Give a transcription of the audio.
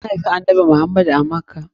An haifi annanbi Muhammad a Makkah.